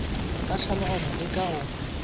ka tlhaloganyo le ka go